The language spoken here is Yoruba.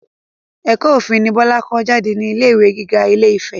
Ẹ̀kọ́ òfin ni Bọlá kà jáde ní ilé ìwé gíga ilé-ìfẹ́